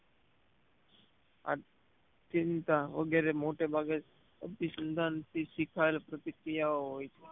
આ ચિંતા વગેરે મોટે ભાગે અભીસંધાન થી શીખાયેલ પ્રતિક્રિયા હોય છે